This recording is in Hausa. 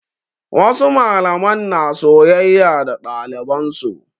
Wasu malaman na soyayya da ɗaliban su.